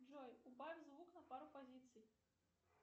джой убавь звук на пару позиций